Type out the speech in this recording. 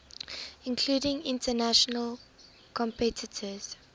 including international competitors